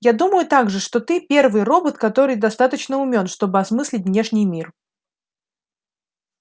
я думаю также что ты первый робот который достаточно умён чтобы осмыслить внешний мир